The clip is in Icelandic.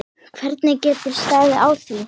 Hvernig getur staðið á því?